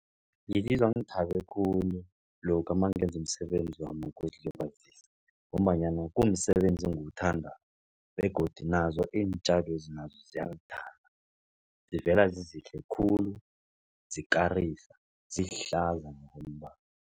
Ngizizwa ngithabe khulu lokha nangenza umsebenzi wami wokuzilibazisa ngombanyana kumsebenzi engiwuthandako. Begodu nazo iintjalwezi nazo ziyangithanda zivela zizihle khulu, zikarisa, zihlaza ngokombala.